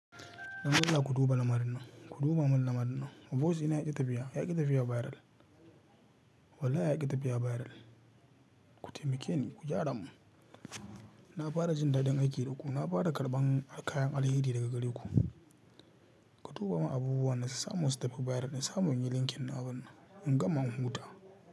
Dan Allah ku duba lamarin nan, ku duba min lamarin nan. Boyiz ɗina yaƙi tafiya, yaƙi tafiya bairal. Wallahi yaƙi tafiya bairal. Ku taimake ni, ku gyara mun. Na fara jin daɗin aiki da ku, na fara karɓan kayan alheri daga garinku. Ku duba mun abubuwan da su samu su tafi bairal, in samu inyi linkin din abunnan nan, in gama in huta.